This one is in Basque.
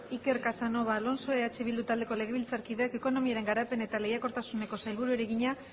iker casanova alonso eh bildu taldeko legebiltzarkideak ekonomiaren garapen eta lehiakortasuneko sailburuari egina